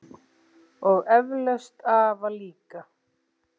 Og eflaust afa líka.